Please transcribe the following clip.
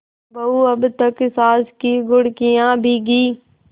बहू अब तक सास की घुड़कियॉँ भीगी